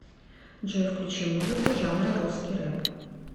джой включи музыку жанра русский рэп